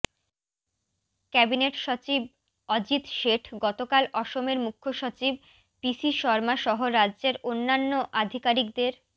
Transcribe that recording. cabinet সচিব অজিত শেঠ গতকাল অসমের মুখ্যসচিব পিসি শর্মা সহ রাজ্যের অন্যান্য আধিকারিকদের